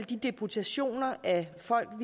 de deputationer af folk